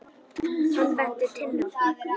Hann benti Tinnu á það.